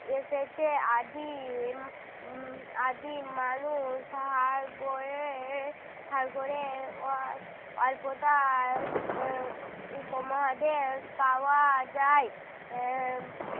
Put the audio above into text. এসেছে। আদিম উম আদিম মানুষ হাড়-গোড়ে হাড় -গোড়ে অ~ অল্পতা উহ উপমহাদেশ পাওয়া যায়। আহ